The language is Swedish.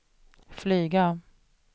flyga